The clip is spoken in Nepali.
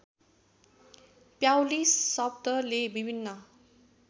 प्याउली शब्दले विभिन्न